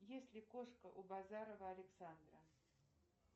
есть ли кошка у базарова александра